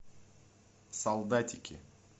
солдатики